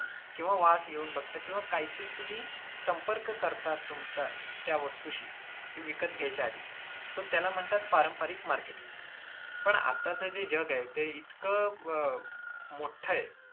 किंवा वास घेऊन बघता किंवा काहीतरी तुम्ही संपर्क करता तुमचा त्या वस्तूशी ते विकत घ्यायच्या आधी so त्याला म्हणतात पारंपरिक marketing. पण आताच जे जग आहे ते इतकं अं मोठ आहे,